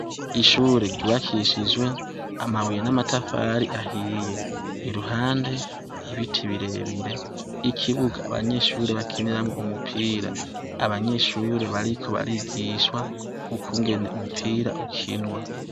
Ishure ryubakishijwe amabuye n'amatafari ahiye, iruhande ibiti birebire ikibuga abanyeshure bakiniramwo umupira, abanyeshure bariko barigishwa ukungene umupira ukinwa.